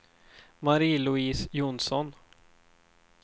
Marie-Louise Jonsson